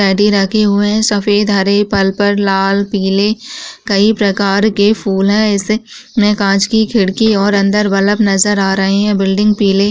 रखे हुए हैं सफेद हरे पर्पल लाल पीले कई प्रकार के फूल हैं| इसमें काँच की खिड़की और अंदर बल्ब नज़र आ रही हैं| बिल्डिंग पीली --